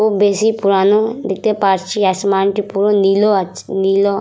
খুব বেশি পুরানো দেখতে পারছি আসমানটি পুরো নীলও আছে নীলও--